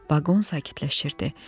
Vaqon sakitləşirdi.